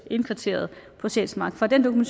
indkvarteret på sjælsmark for den